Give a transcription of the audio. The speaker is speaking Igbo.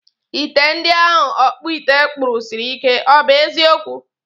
Ite ndi ahụ ọkpụite kpụrụ siri ike, ọ bụ eziokwu?